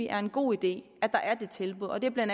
er en god idé at der er det tilbud og det er bla